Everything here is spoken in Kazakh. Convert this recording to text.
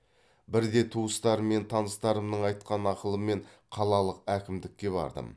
бірде туыстарым мен таныстарымның айтқан ақылымен қалалық әкімдікке бардым